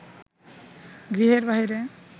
গৃহের বাহিরে